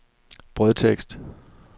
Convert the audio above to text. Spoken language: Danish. brødtekst